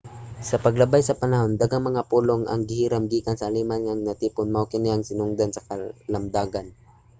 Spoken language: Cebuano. sa paglabay sa panahon daghang mga pulong ang gihiram gikan sa aleman ang natipon. mao kini ang sinugdanan sa kalamdagan